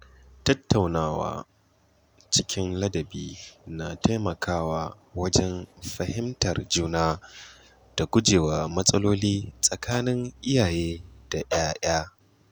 Tattaunawa cikin ladabi na taimakawa wajen fahimtar juna da gujewa matsaloli tsakanin iyaye da ‘ya’ya.